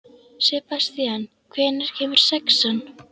Sebastían, hvenær kemur sexan?